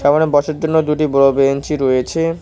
ওখানে বসার জন্য দুটি বড় বেঞ্চি রয়েছে।